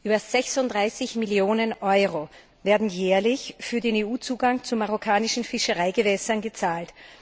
Über 36 Millionen Euro werden jährlich für den EU Zugang zu marokkanischen Fischereigewässern gezahlt.